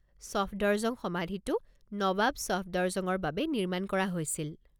ছফদৰজং সমাধিটো নৱাব ছফদৰজঙৰ বাবে নিৰ্মাণ কৰা হৈছিল।